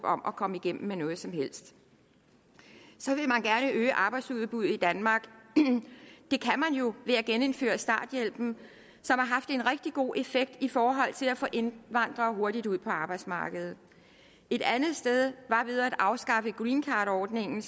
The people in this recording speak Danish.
om at komme igennem med noget som helst så vil man gerne øge arbejdsudbuddet i danmark det kan man jo ved at genindføre starthjælpen som har haft en rigtig god effekt i forhold til at få indvandrere hurtigt ud på arbejdsmarkedet et andet sted var ved at afskaffe greencardordningen